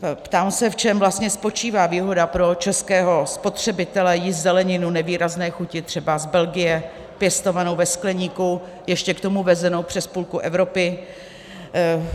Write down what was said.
Ptám se, v čem vlastně spočívá výhoda pro českého spotřebitele jíst zeleninu nevýrazné chuti třeba z Belgie, pěstovanou ve skleníku, ještě k tomu vezenou přes půlku Evropy?